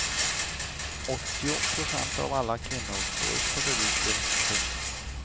Åttio procent av alla kvinnor får celluiter. punkt